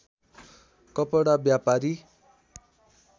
कपडा व्यापारी